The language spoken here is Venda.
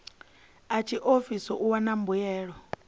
a tshiofisi u wana mbuelo